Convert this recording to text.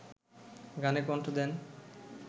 গানে কণ্ঠ দেন